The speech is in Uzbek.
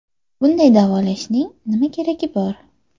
Bunday davolashning nima keragi bor?